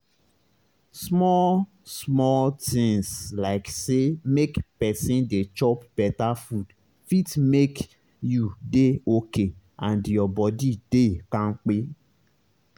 small-small tinz like say make pesin dey chop beta food fit make you dey okay and your body dey kampe.